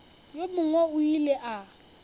yo mongwe o ile a